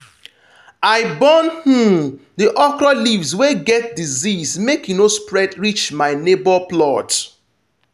i burn um the okra leaves wey get disease make e no spread reach my neighbour plot.